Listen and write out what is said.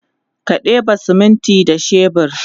ka ɗeba siminti da shebur